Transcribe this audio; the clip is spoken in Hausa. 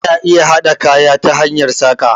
Ana iya haɗa kaya ta hanyar saƙa